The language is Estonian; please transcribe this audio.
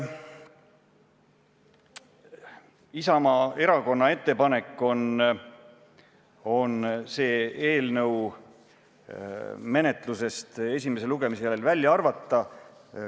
Isamaa Erakonna ettepanek on see eelnõu menetlusest esimese lugemise järel välja arvata.